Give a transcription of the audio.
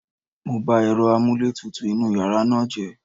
Mo ba èrọ amúlétutù inúu yàrá náà jẹ́.